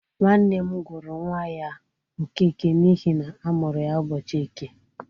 Nwanne m gụrụ nwa ya Okeke n’ihi na a mụrụ ya ụbọchị Eke.